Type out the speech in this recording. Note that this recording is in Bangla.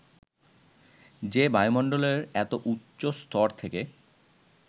যে বায়ুমন্ডলের এত উচ্চ স্তর থেকে